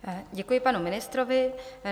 Děkuji panu ministrovi.